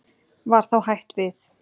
Var þá hætt við.